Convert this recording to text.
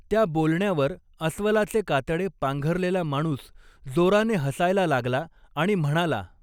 त्या बोलण्यावर अस्वलाचे कातडे पांघरलेला माणूस जोराने हसायला लागला आणि म्हणाला.